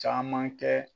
Caman kɛ